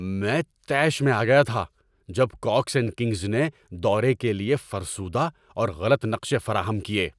میں طیش میں آ گیا تھا جب کاکس اینڈ کنگز نے دورے کے لیے فرسودہ اور غلط نقشے فراہم کیے۔